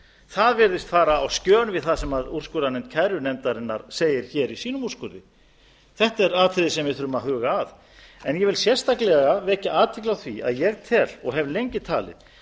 það virðist fara á skjön við það sem úrskurðarnefnd kærunefndarinnar segir hér í sínum úrskurði þetta er atriði sem við þurfum að huga að ég vil sérstaklega vekja athygli á því að ég tel og hef lengi talið